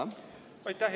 Aitäh!